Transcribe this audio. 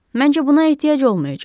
Məncə buna ehtiyac olmayacaq.